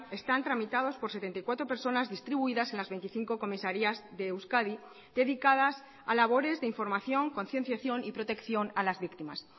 están tramitados por setenta y cuatro personas distribuidas en las veinticinco comisarías de euskadi dedicadas a labores de información concienciación y protección a las víctimas